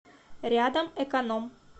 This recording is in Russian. рядом эконом